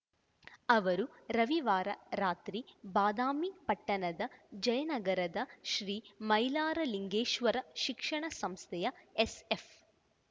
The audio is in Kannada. ಅವರು ರವಿವಾರ ರಾತ್ರಿ ಬಾದಾಮಿ ಪಟ್ಟಣದ ಜಯನಗರದ ಶ್ರೀ ಮೈಲಾರಲಿಂಗೇಶ್ವರ ಶಿಕ್ಷಣ ಸಂಸ್ಥೆಯ ಎಸ್ಎಫ್